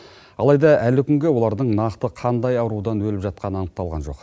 алайда әлі күнге олардың нақты қандай аурудан өліп жатқаны анықталған жоқ